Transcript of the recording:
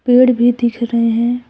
पेड़ भी दिख रहे हैं।